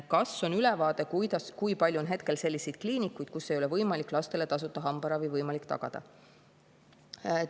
Kas teil on ülevaade, kui palju on hetkel selliseid kliinikuid, kus ei ole lastele tasuta hambaravi võimalik tagada?